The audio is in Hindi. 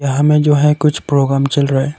यहां में जो है कुछ प्रोग्राम चल रहा है।